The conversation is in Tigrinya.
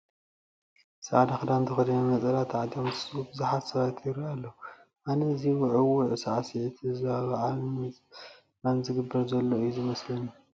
ፃዕዳ ክዳን ተኸዲኖም ነፀላ ተዓጢቆም ዝስዕስዑ ብዙሓት ሰባት ይርአዩ ኣለዉ፡፡ ኣነ እዚ ውዕውዕ ሳዕስዒት ንህዝባዊ በዓል ንምፅንባል ዝግበር ዘሎ እዩ ዝመስለኒ፡፡